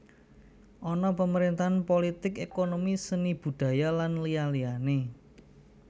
Ana pemerintahan polotik ékonomi seni budhaya lan liyane liyane